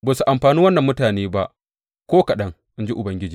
Ba su amfani wannan mutane ba ko kaɗan, in ji Ubangiji.